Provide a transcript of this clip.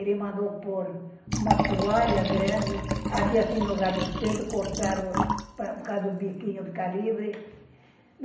Ele mandou pôr uma toalha grande, aqui assim, no lugar dos peitos, cortar os... por causa do biquinho ficar livre